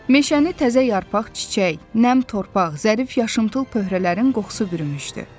Meşəni təzə yarpaq, çiçək, nəm torpaq, zərif yaşılımtıl pöhrələrin qoxusu bürümüşdü.